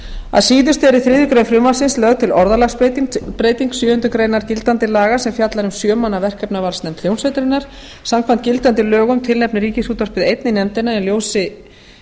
að síðustu er í þriðju greinar frumvarpsins lögð til orðalagsbreyting sjöundu greinar gildandi laga sem fjallar um sjö manna verkefnavalsnefnd hljómsveitarinnar samkvæmt gildandi lögum tilnefni ríkisútvarpið einn í nefndina en í ljósi